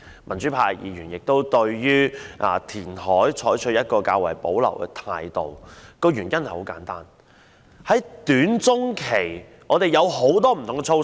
民主派議員對於填海採取較為保留的態度，原因很簡單，在短中期方面，我們已提出很多不同的措施。